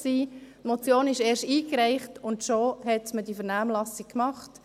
Die Motion wurde gerade erst eingereicht und schon hat man die Vernehmlassung gemacht.